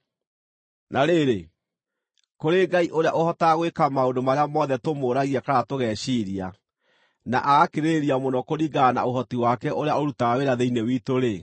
Na rĩrĩ, kũrĩ Ngai ũrĩa ũhotaga gwĩka maũndũ marĩa mothe tũmũũragia kana tũgeciiria, na agakĩrĩrĩria mũno kũringana na ũhoti wake ũrĩa ũrutaga wĩra thĩinĩ witũ-rĩ,